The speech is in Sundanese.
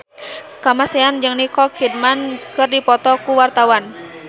Kamasean jeung Nicole Kidman keur dipoto ku wartawan